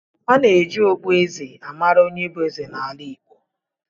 A na-eji okpueze a mara onye bụ eze n’ala Igbo